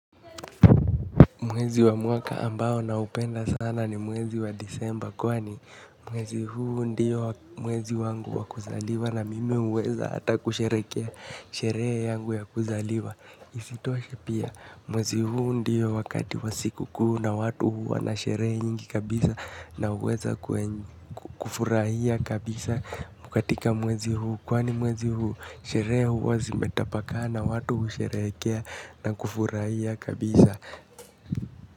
Mwezi wa mwaka ambao naupenda sana ni mwezi wa disemba kwani, mwezi huu ndiyo mwezi wangu wakuzaliwa na mimi huweza hata kusherekea sheree yangu ya kuzaliwa. Isitoshe, pia mwezi huu ndiyo wakati wa siku kuu na watu huu wana sheree nyingi kabisa na uweza kufurahia kabisa katika mwezi huu kwani mwezi huu sheree huu zimetapakaa na watu usherekea na kufurahia kabisa.